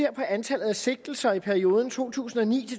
antallet af sigtelser i perioden to tusind og ni